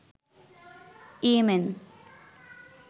Yemen